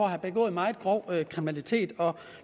at have begået meget grov kriminalitet og